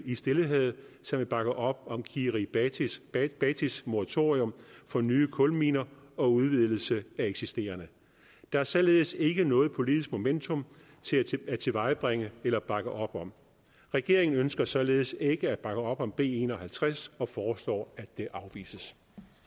i stillehavet som vil bakke op om kiribatis kiribatis moratorium for nye kulminer og udvidelse af eksisterende der er således ikke noget politisk momentum at tilvejebringe eller bakke op om regeringen ønsker således ikke at bakke op om b en og halvtreds og foreslår at det afvises